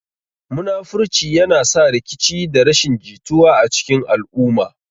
Munafurci yana sa rikici da rashin jituwa a cikin al'umma.